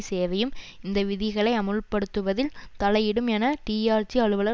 சேவையும் இந்த விதிகளை அமுல்படுத்துவதில் தலையிடும் என டிஆர்சி அலுவலர்